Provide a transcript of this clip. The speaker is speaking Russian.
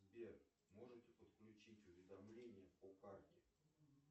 сбер можете подключить уведомления по карте